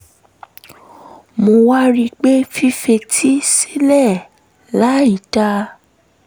mo wá rí i pé fífetí sílẹ̀ láì dáa